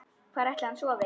Hvar ætli hann sofi?